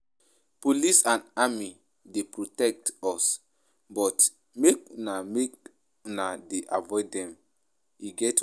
Police and army dey protect us but make una make una dey avoid dem, e get why.